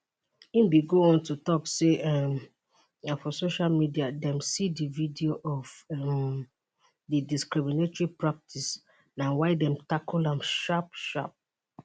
im go on to tok say um na for social media dem see di video of um di discriminatory practice na why dem tackle am sharp sharp